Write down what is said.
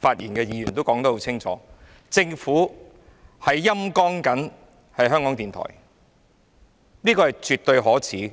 發言的多位議員也說得很清楚，政府是在"陰乾"港台，這是絕對可耻的。